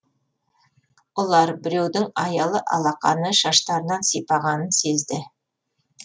ұлар біреудің аялы алақаны шаштарынан сипағанын сезді